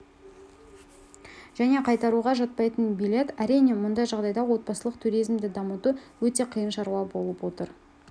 және қайтаруға жатпайтын билет әрине мұндай жағдайда отбасылық туризмді дамыту өте қиын шаруа болып отыр